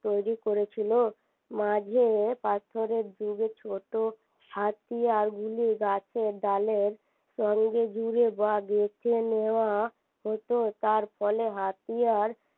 তৈরি করেছিলো মাঝে পাথরের যুগে ছোট হাতিয়ারগুলি গাছের ডালের সঙ্গে জুড়ে বা গেঁথে নেওয়া হত তার ফলে হাতিয়ার